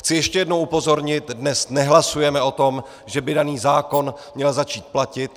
Chci ještě jednou upozornit - dnes nehlasujeme o tom, že by daný zákon měl začít platit.